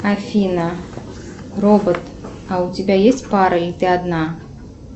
афина робот а у тебя есть пара или ты одна